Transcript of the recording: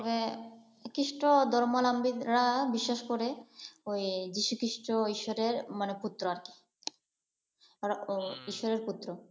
হ্যাঁ খ্রিস্ট ধর্মালম্বীরা বিশেষ করে ওই যীশু খ্রীষ্ট ঈশ্বরের মানে পুত্র আর কি। তারা ওই ঈশ্বরের পুত্র।